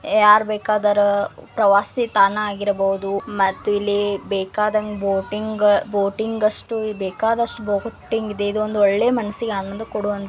ಯಾರ ಬೇಕಾದವರ ಪ್ರವಾಸಿ ತಾಣ ಆಗಿರಬಹುದು .ಮತ್ತು ಇಲ್ಲಿ ಬೇಕಾದಂಗ್ ಬೋಟಿಂಗ್ ಬೋಟ್ ಬೇಕಾದಷ್ಟುಬಹುದು. ಇದೊಂದು ಒಳ್ಳೆ ಮನಸ್ಸಿಗೆ ಒಂದು--